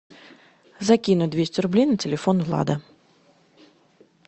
закинуть двести рублей на телефон влада